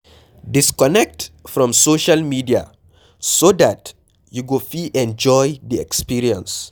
Disconnect from social media so dat you go fit enjoy di experience